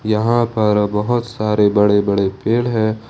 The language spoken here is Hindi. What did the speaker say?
यहां पर बहुत सारे बड़े बड़े पेड़ है।